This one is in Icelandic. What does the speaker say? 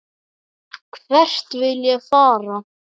Hvert vil ég fara?